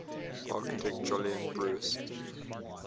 architect jolyon brewis